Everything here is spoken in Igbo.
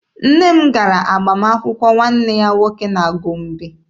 Nne m gara agbamakwụkwọ nwanne ya nwoke na Gombe.